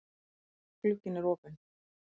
Glugginn er opinn.